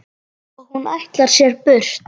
Og hún ætlar sér burt.